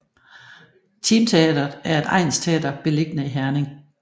Team Teatret er et egnsteater beliggende i Herning